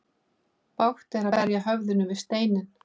Bágt er að berja höfðinu við steinninn.